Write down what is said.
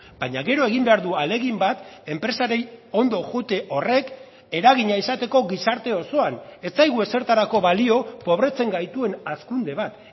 baina gero egin behar du ahalegin bat enpresari ondo joate horrek eragina izateko gizarte osoan ez zaigu ezertarako balio pobretzen gaituen hazkunde bat